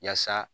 Yaasa